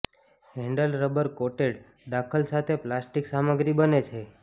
handle rubber coated દાખલ સાથે plastic સામગ્રી બને છે